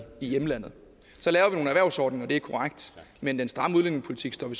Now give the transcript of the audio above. hjemlandet så laver vi nogle erhvervsordninger det er korrekt men den stramme udlændingepolitik står vi